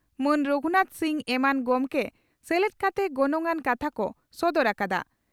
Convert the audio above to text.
ᱢᱟᱱ ᱨᱚᱜᱷᱩᱱᱟᱛᱷ ᱥᱤᱝ ᱮᱢᱟᱱ ᱜᱚᱢᱠᱮ ᱥᱮᱞᱮᱫ ᱠᱟᱛᱮ ᱜᱚᱱᱚᱝ ᱟᱱ ᱠᱟᱛᱷᱟ ᱠᱚ ᱥᱚᱫᱚᱨ ᱟᱠᱟᱫᱼᱟ ᱾